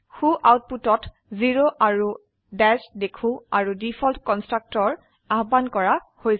সু আউটপুটত জেৰ আৰু দাশ দেখো আৰু ডিফল্ট কন্সট্ৰাকটৰ আহ্বান কৰা হৈছে